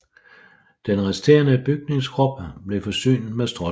Den resterende bygningskrop blev forsynet med stråtag